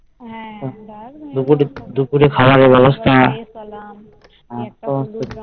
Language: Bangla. দুপুরে দুপুরে খাওয়ানোর ব্যবস্থা